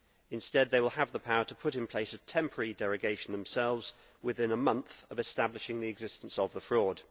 Instead, they will have the power to put in place a temporary derogation themselves within a month of establishing the existence of the fraud.